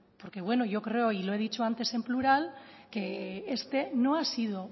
porque bueno yo creo y lo he dicho antes en plural que este no ha sido